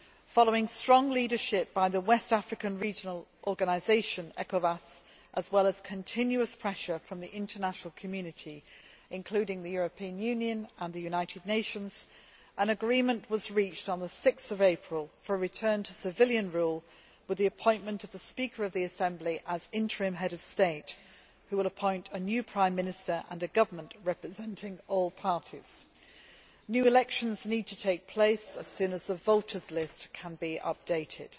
Following strong leadership by the West African regional organisation, ECOWAS, as well as continuous pressure from the international community including the European Union and the United Nations an agreement was reached on 6 April 2012 providing for a return to civilian rule with the appointment of the Speaker of the National Assembly as interim Head of State. He will then appoint a new prime minister and a government representing all parties. New elections need to take place as soon as the voters' list can be updated.